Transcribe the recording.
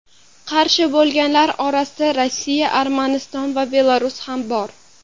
Qarshi bo‘lganlar orasida Rossiya, Armaniston va Belarus ham bor.